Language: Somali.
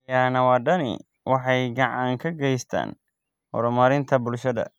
Xayawaanadani waxay gacan ka geystaan ??horumarinta bulshada.